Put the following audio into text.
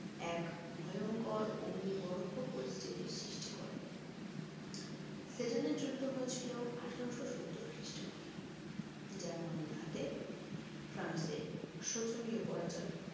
এক ভয়ঙ্কর অগ্নিগর্ভ পরিস্থিতি সৃষ্টি করে সেডানের যুদ্ধ হয়েছিল আঠারোশো সত্তর খ্রিস্টাব্দে জার্মানির হাতে ফ্রান্সের শোচনীয় পরাজয়